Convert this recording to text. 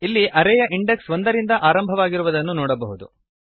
ಇಲ್ಲಿ ಅರೇ ಯ ಇಂಡೆಕ್ಸ್ ಒಂದರಿಂದ ಆರಂಭವಾಗಿರುವುದನ್ನು ನೋಡಬಹುದು